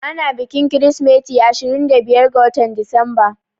Ana bikin kirismeti ashirin da biyar ga watan Disamba